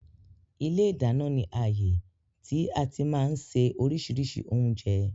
Ilé ìdáná ni ààyè tí àti máa ń ṣe oríṣiríṣi oúnjẹ